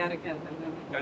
Xankəndliyəm.